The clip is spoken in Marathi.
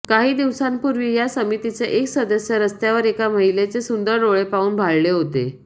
काही दिवसांपूर्वी या समितीचे एक सदस्य रस्त्यावर एका महिलेचे सुंदर डोळे पाहून भाळले होते